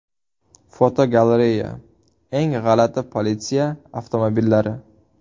Fotogalereya: Eng g‘alati politsiya avtomobillari.